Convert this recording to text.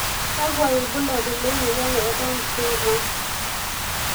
Kakwa ibulabul lemoyian e Down syndrome?